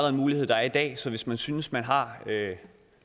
en mulighed der er i dag så hvis man synes man har